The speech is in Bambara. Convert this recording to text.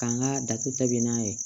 K'an ka datugu ta bɛn n'a ye